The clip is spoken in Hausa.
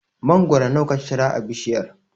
Mangoro nawa ka cira a bishiyar?